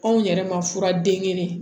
Anw yɛrɛ ma fura den kelen